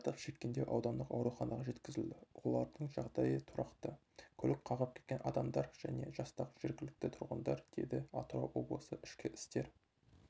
зардап шеккендер аудандық ауруханаға жеткізілді олардың жағдайы тұрақты көлік қағып кеткен адамдар және жастағы жергілікті тұрғындар деді атырау облысы ішкі істер